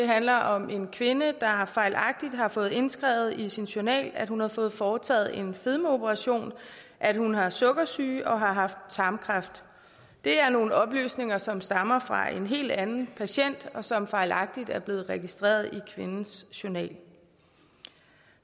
handler om en kvinde der fejlagtigt har fået indskrevet i sin journal at hun har fået foretaget en fedmeoperation at hun har sukkersyge og har haft tarmkræft det er nogle oplysninger som stammer fra en helt anden patient og som fejlagtigt er blevet registreret i kvindens journal